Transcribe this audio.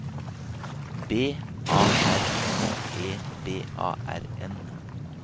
B A R N E B A R N